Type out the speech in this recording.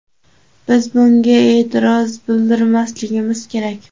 biz bunga e’tiroz bildirmasligimiz kerak.